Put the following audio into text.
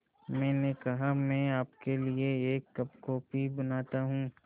मैंने कहा मैं आपके लिए एक कप कॉफ़ी बनाता हूँ